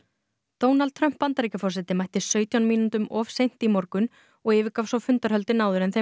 Donald Trump Bandaríkjaforseti mætti sautján mínútum of seint í morgun og yfirgaf svo fundarhöldin áður en þeim